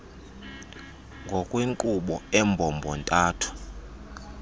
ngokwenkqubo embombo ntathu